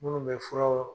Minnu bɛ furaw